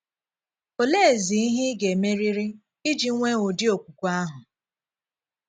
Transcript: Òleezí ihe ị ga - emerịrị íji nwee ụ̀dị̀ okwukwe ahụ?